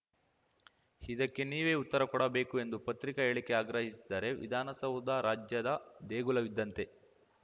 ಇದಕ್ಕೆ ನೀವೇ ಉತ್ತರ ಕೊಡಬೇಕು ಎಂದು ಪತ್ರಿಕಾ ಹೇಳಿಕೆ ಆಗ್ರಹಿಸಿದ್ದಾರೆ ವಿಧಾನಸೌಧ ರಾಜ್ಯದ ದೇಗುಲವಿದ್ದಂತೆ